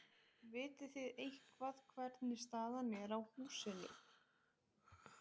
Lillý: Vitið þið eitthvað hvernig staðan er á húsinu?